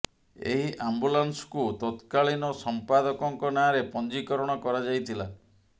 ଏହି ଆମ୍ବୁଲାନ୍ସକୁ ତତକାଳୀନ ସମ୍ପାଦକଙ୍କ ନାଁରେ ପଞ୍ଜୀକରଣ କରାଯାଇ ଥିଲା